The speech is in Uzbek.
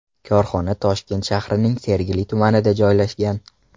Korxona Toshkent shahrining Sergeli tumanida joylashgan.